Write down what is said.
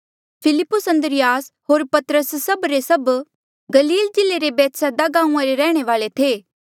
फिलिप्पुस अन्द्रियास होर पतरस सभ के सभ गलील जिल्ले रे बैतसैदा गांऊँआं रे रैहणे वाले थे